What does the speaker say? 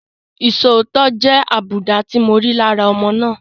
Isòótọ́ jẹ́ àbùdá tí mo rí lára ọmọ náà.